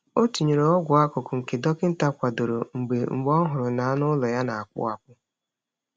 Ọ tinyere ọgwụ akụkụ nke dọkịta kwadoro mgbe mgbe ọ hụrụ na anụ ụlọ ya na-akpụ akpụ.